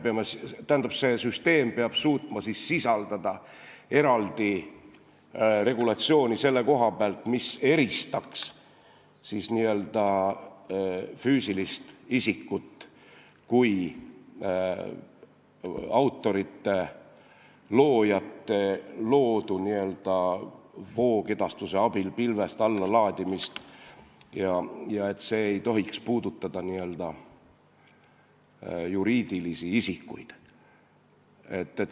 Tähendab, see süsteem peab suutma sisaldada eraldi regulatsiooni, mis eristaks füüsiliste isikute kui loojate ehk autorite loodu pilvest allalaadimist voogedastuse abil, aga see ei tohiks puudutada juriidilisi isikuid.